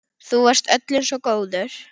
Þú varst öllum svo góður.